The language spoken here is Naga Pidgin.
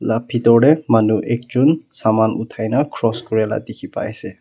laga bithor te manu ekjon saman uthai na cross koriala dekhi pai ase.